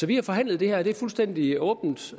vi har forhandlet det her det er fuldstændig åbent